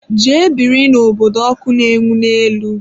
Jee biri n'obodo ọkụ na-enwu n'elu!